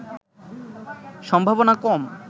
সম্ভাবনা কম